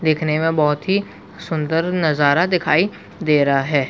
दिखने में बहोत ही सुंदर नज़ारा दखाई दे रहा है ।